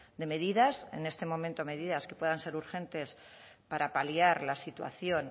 de medidas en este momento medidas que puedan ser urgentes para paliar la situación